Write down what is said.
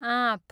आँप